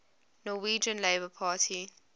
norwegian labour party